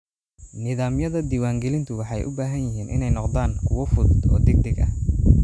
Nidaamyada diiwaangelintu waxay u baahan yihiin inay noqdaan kuwo fudud oo degdeg ah.